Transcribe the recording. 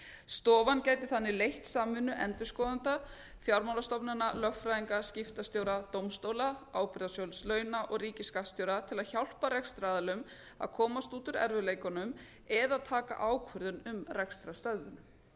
stofan gæti þannig leitt samvinnu endurskoðenda fjármálastofnana lögfræðinga skiptastjóra dómstóla ábyrgðasjóðs launa og ríkisskattstjóra til að hjálpa rekstraraðilum að komast út úr erfiðleikunum eða taka ákvörðun um rekstrarstöðvun